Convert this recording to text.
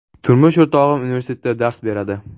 Turmush o‘rtog‘im universitetda dars beradi.